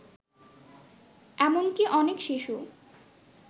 এমনকী অনেক শিশু